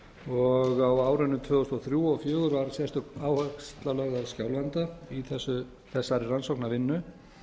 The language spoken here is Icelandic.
og á árunum tvö þúsund og þrjú og tvö þúsund og fjögur var sérstök áhersla lögð á skjálfanda í þessari rannsóknarvinnu